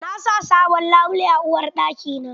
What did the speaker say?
Na sa sabon labule a uwarɗaki na.